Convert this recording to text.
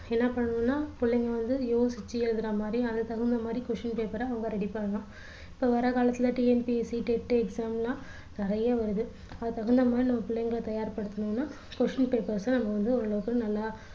என்ன பண்ணணும்னா புள்ளைங்க வந்து யோசிச்சு எழுதுற மாதிரி அதுக்கு தகுந்த மாதிரி question paper அ அவங்க ready பண்ணணும் இப்போ வர்ற காலத்துல TNPSCTET exam லாம் நிறைய வருது அதுக்கு தகுந்த மாதிரி நம்ம பிள்ளைங்கள தயார்படுத்தணும்னா question paper அ நம்ம வந்து ஓரளவுக்கு நல்லா